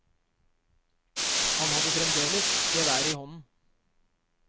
Han hadde fremdeles geværet i hånden.